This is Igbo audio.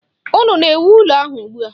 Unu na-ewu ụlọ ahụ ugbua?